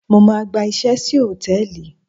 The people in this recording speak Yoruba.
Mo máa gba iṣẹ́ sí hòtẹ́ẹ̀lì.